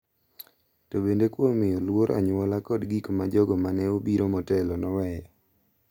To bende kuom miyo luor anyuola kod gik ma jogo ma ne obiro motelo noweyo.